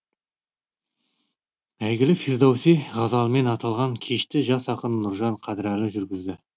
әйгілі фирдоуси ғазалымен аталған кешті жас ақын нұржан қадірәлі жүргізді